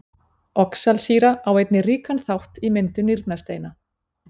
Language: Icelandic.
Oxalsýra á einnig ríkan þátt í myndun nýrnasteina.